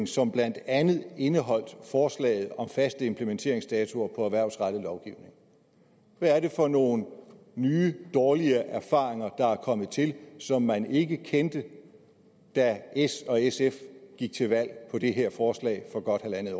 som blandt andet indeholdt forslaget om faste implementeringsdatoer på en erhvervsrettet lovgivning hvad er det for nogle nye dårlige erfaringer der er kommet til som man ikke kendte da s og sf gik til valg på det her forslag for godt halvandet